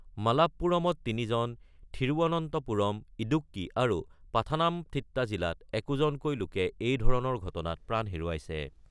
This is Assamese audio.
মালাপ্পুৰমত তিনিজন, থিৰুৱনন্তপুৰম, ইদুক্কি আৰু পাথানামথিট্টা জিলাত একোজনকৈ লোকে এই ধৰণৰ ঘটনাত প্ৰাণ হেৰুৱাইছে।